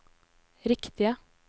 riktige